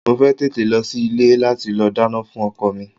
Mo fẹ́ tètè lọ sí ilé láti lọ dáná fún ọkọ mi.